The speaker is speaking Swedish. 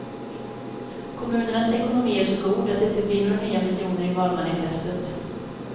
Kommunernas ekonomi är så god att det inte blir några nya miljoner i valmanifestet.